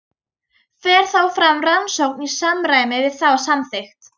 Fer þá fram rannsókn í samræmi við þá samþykkt.